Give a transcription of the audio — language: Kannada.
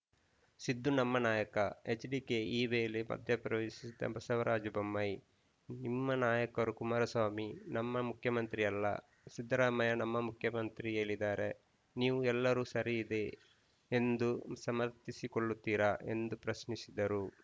ಸಿದ್ದು ನಮ್ಮ ನಾಯಕ ಎಚ್‌ಡಿಕೆ ಈ ವೇಳೆ ಮಧ್ಯಪ್ರವೇಶಿಸಿದ ಬಸವರಾಜ ಬೊಮ್ಮಾಯಿ ನಿಮ್ಮ ನಾಯಕರು ಕುಮಾರಸ್ವಾಮಿ ನಮ್ಮ ಮುಖ್ಯಮಂತ್ರಿ ಅಲ್ಲ ಸಿದ್ದರಾಮಯ್ಯ ನಮ್ಮ ಮುಖ್ಯಮಂತ್ರಿ ಹೇಳಿದ್ದಾರೆ ನೀವು ಎಲ್ಲರೂ ಸರಿಯಿದೆ ಎಂದು ಸಮರ್ಥಿಸಿಕೊಳ್ಳುತ್ತೀರಾ ಎಂದು ಪ್ರಶ್ನಿಸಿದರು